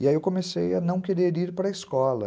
E aí eu comecei a não querer ir para a escola.